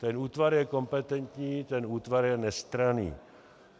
Ten útvar je kompetentní, ten útvar je nestranný.